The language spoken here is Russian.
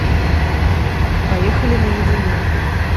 поехали наедине